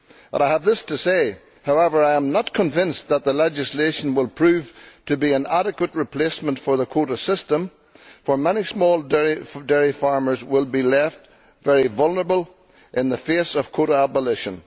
But I have this to say that I am not convinced that the legislation will prove to be an adequate replacement for the quota system, for many small dairy farmers will be left very vulnerable in the face of quota abolition.